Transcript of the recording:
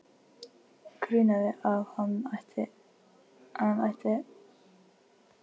Grunaði hann ekki að hún ætti hinn helminginn eftir?